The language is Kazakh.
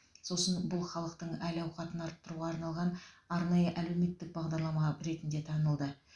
сосын бұл халықтың әл ауқатын арттыруға арналған арнайы әлеуметтік бағдарлама ретінде танылды